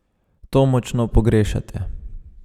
To močno pogrešate?